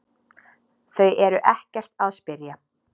Þau eru ekkert að spyrja